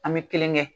An bɛ kelen kɛ